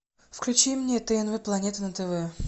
включи мне тнв планета на тв